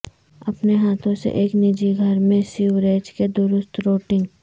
اپنے ہاتھوں سے ایک نجی گھر میں سیوریج کے درست روٹنگ